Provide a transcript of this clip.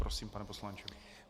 Prosím, pane poslanče.